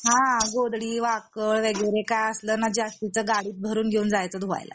हा गोधडी वाकळ वगैरे काही असलंना जास्तीचं गाडीत भरून घेऊन जायचं धुवायला